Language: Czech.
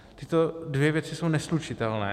Tyto dvě věci jsou neslučitelné.